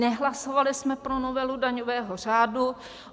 Nehlasovali jsme pro novelu daňového řádu.